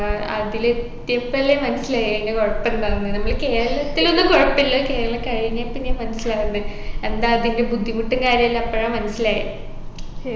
അഹ് അതിലെത്തിയപ്പല്ലേ മനസ്സിലായെ അയിൻെറ കുഴപ്പ എന്താണെന്ന് നമ്മളെ കേരളത്തിലൊന്നും കുഴപ്പില്ല കേരളം കഴിഞ്ഞേ പിന്നെയാ മനസ്സിലാവുന്നെ എന്താ അതിൻെറ ബുദ്ധിമുട്ടും കാര്യല്ലാം അപ്പഴാ മനസ്സിലായെ